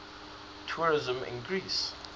tourism in greece